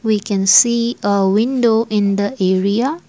we can see a window in the area.